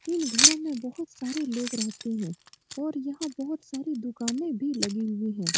इन घरो में बहुत सारे लोग रहते हैं और यहाँ बहुत सारी दुकानें भी लगी हुई हैं ।